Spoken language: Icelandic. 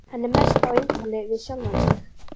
Hann er mest á eintali við sjálfan sig.